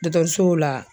Dɔkɔtɔrɔsow la